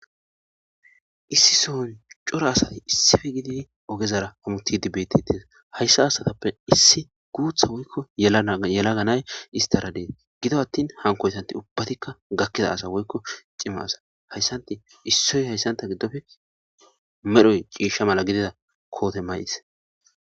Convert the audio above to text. issi soon cora asay issife gidii ogezara amutidi bettetes hayssa haasatappe issi guutha woykko yela ganay istara dees gido attin hankoytanti ubbatikka gakkida asa woykko cimasa hayssanti issoy hayssanta giddofe medhoy ciishsha mala gidida koote mayis.